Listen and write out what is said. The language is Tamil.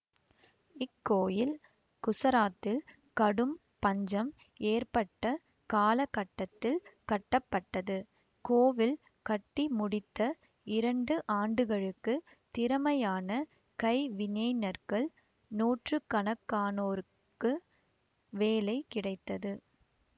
இக்கோயில் குசராத் கடும் பஞ்சம் ஏற்பட்ட காலகட்டத்தில் கட்டப்பட்டது கோவில் கட்டி முடித்த இரண்டு ஆண்டுகளுக்கு திறமையான கைவினைஞர்கள் நூற்றுக்கணக்கானோர்கு வேலை கிடைத்தது